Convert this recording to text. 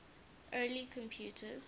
early computers